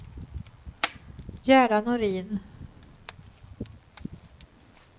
Gerda Norin